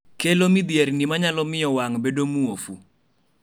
kelo midhierni manyalo miyo wang' bedo muofu